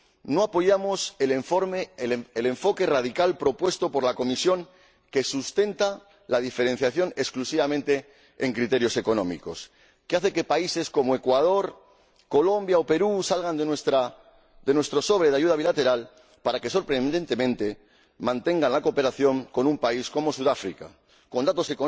No apoyamos el enfoque radical propuesto por la Comisión que sustenta la diferenciación exclusivamente en criterios económicos, que hace que países como Ecuador, Colombia o Perú salgan de nuestro sobre de ayuda bilateral y que, sorprendentemente, mantiene la cooperación con un país como Sudáfrica, con datos